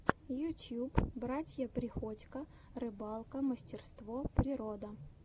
ютьюб братья приходько рыбалка мастерство природа